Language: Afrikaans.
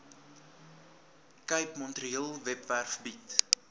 capemetrorail webwerf bied